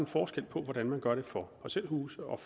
forskel på hvordan man gør det for parcelhuse og